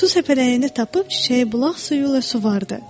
Su səpələyəni tapıb çiçəyi bulaq suyuyla suvardı.